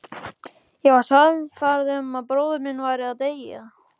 Ég var sannfærð um að bróðir minn væri að deyja